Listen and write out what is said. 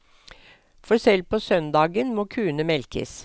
For selv på søndagen må kuene melkes.